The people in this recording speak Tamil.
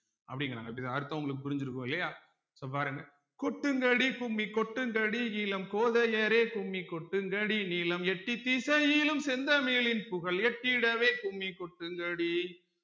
அப்படிங்கிறாங்க இப்படித்தான் அர்த்தம் உங்களுக்கு புரிஞ்சிருக்கும் இல்லையா so பாருங்க கொட்டுங்கடி கும்மி கொட்டுங்கடி இளம் கோதையரே கும்மி கொட்டுங்கடி நிலம் எட்டி திசையிலும் செந்தமிழின் புகழ் எட்டிடவே கும்மி கொட்டுங்கடி